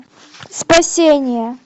спасение